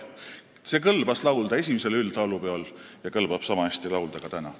Seda kõlbas laulda esimesel üldlaulupeol ja kõlbab niisama hästi laulda ka täna.